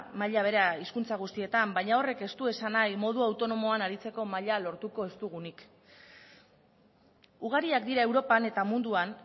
maila bere hizkuntza guztietan baina horrek ez du esan nahi modu autonomoan aritzeko maila lortuko ez dugunik ugariak dira europan eta munduan